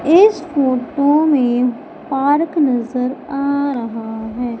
इस फोटो में पार्क नजर आ रहा है।